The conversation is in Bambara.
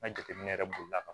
N ka jateminɛ yɛrɛ bolila ka